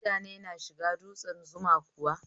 Mutane na shiga dutsen Zuma kuwa?